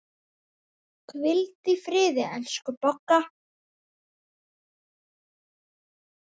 Hvíldu í friði, elsku Bogga.